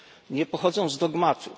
Nie pochodzą z dogmatu.